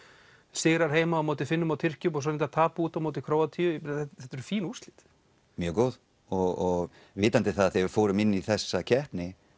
sigrar heima á móti Finnum og Tyrkjum og svo reyndar tap úti á móti Króatíu þetta eru fín úrslit já mjög góð og vitandi það þegar við fórum inn í þessa keppni